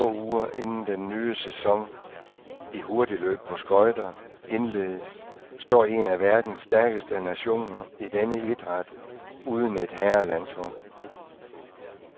Få uger inden den ny sæson i hurtigløb på skøjter indledes, står en af verdens stærkeste nationer i denne idræt uden et herrelandshold.